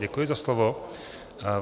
Děkuji za slovo.